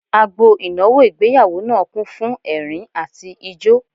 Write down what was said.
Agbo ìnáwó ìgbéyàwó náà kún fún ẹ̀rín àti ijó